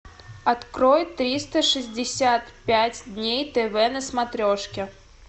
открой триста шестьдесят пять дней тв на смотрешке